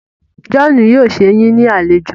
John yóò sé yín ní alejò.